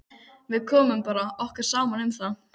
Við bara komum okkur saman um það.